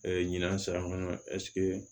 ɲinan san